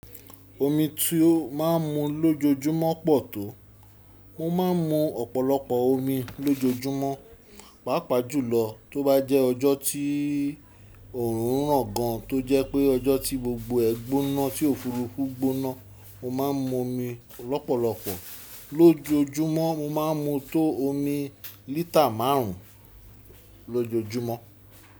Omi tí ó má ń mu lójoojúmọ́ pọ̀ tó. Mo ma ń mu ọ̀pọ̀lọpọ̀ omi lójoojúmọ́, pàápàá jùlọ tó bá jẹ́ ọjọ́ tí òórùn ràn gan, tó jẹ́ pé ọjọ́ tí gbogbo ẹgbóná tí òfúrufú gbóná. Mo ma ń mu omi lọ́pọ̀lọpọ̀ lójoojúmọ́, mo ma ń mu tó omi lítà márùn ún lójoojúmọ́.